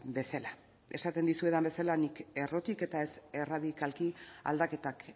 bezala esaten dizuedan bezala nik errotik eta ez erradikalki aldaketak